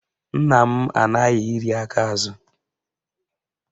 Nna m anaghị iri aka azụ